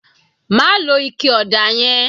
Má lo ike ọ̀dà yẹn